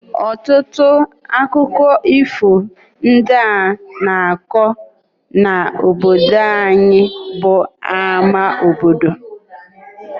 Ọtụtụ akụkọ ifo ndị a na-akọ n’obodo anyị bụ n’ámá obodo.